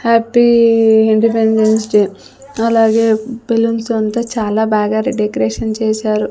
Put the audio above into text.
Happy independence day అలాగే balloons తో అంతా చాలా బాగా రె డెకరేషన్ చేశారు.